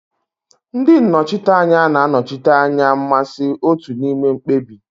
Ndị nnọchiteanya na-anọchite anya mmasị otu n'ime mkpebi.